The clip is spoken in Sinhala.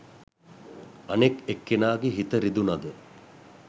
අනෙක් එක්කෙනාගේ හිත රිදුනද